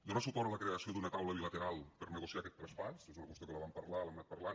donar suport a la creació d’una taula bilateral per negociar aquest traspàs que és una qüestió que la vam parlar l’hem anat parlant